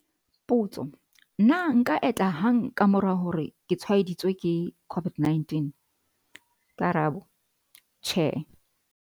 Potso- Na nka enta hang ka mora hore ke tshwaeditswe ke COVID-19? Karabo- Tjhe.